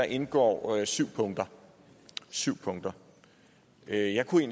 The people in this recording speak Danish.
indgår syv punkter syv punkter jeg kunne